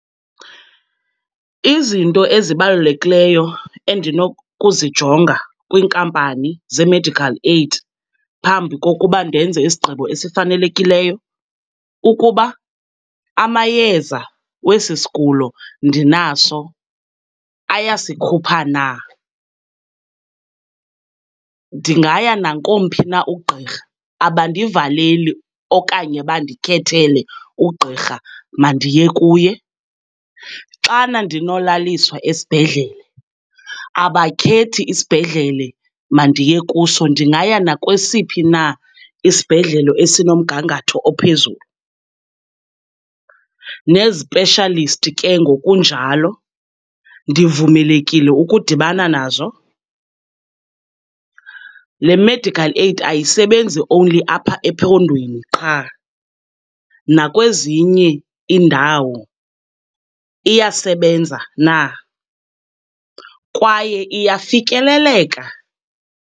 Izinto ezibalulekileyo endinokuzijonga kwiinkampani zeemedical aid phambi kokuba ndenze isigqibo esifanelekiyo, kukuba amayeza wesi sigulo ndinaso ayasikhupha na. Ndingaya nakomphi na ugqirha, abandivaleli okanye bandikhethele ughirha mandiye kuye. Xana ndinolaliswa esibhedlele, abakhethi isibhedlele mandiye kuso, ndingaya nakwesiphi na isibhedlele esinomgangatho ophezulu. Nee-specialist ke ngokunjalo, ndivumelekile ukudibana nazo? Le medical aid ayisebenzi only apha ephondweni qha, nakwezinye iindawo iyasebenza na, kwaye iyafikeleleka?